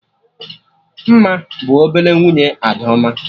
Mma bụ ọbele nwunye Adaoma